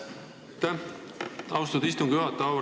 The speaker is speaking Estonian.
Aitäh, austatud istungi juhataja!